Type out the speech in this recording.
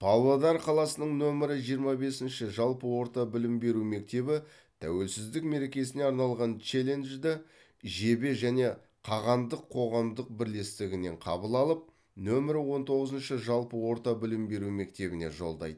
павлодар қаласының нөмір жиырма бесінші жалпы орта білім беру мектебі тәуелсіздік мерекесіне арналған челленджді жебе және қағандық қоғамдық бірлестігінен қабыл алып нөмір он тоғызыншы жалпы орта білім беру мектебіне жолдайды